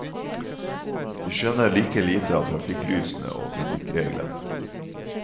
Vi skjønner like lite av trafikklysene og trafikkreglene.